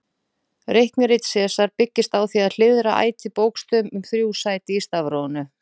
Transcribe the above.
Reiknirit Sesars byggist á því að hliðra ætíð bókstöfum um þrjú sæti í stafrófinu.